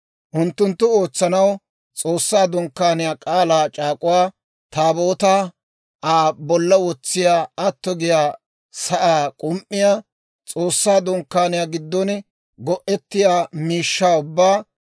Unttunttu ootsanaw: S'oossaa Dunkkaaniyaa, K'aalaa c'aak'uwaa Taabootaa, Aa bolla wotsiyaa atto giyaa sa'aa k'um"iyaa, S'oossaa Dunkkaaniyaa giddon go'ettiyaa miishshaa ubbaa,